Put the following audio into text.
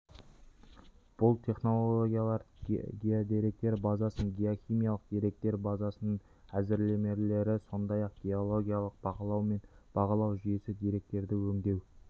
бұл технологиялар геодеректер базасының геохимиялық деректер базасының әзірлемелері сондай-ақ геологиялық бақылау мен бағалау жүйесі деректерді өңдеу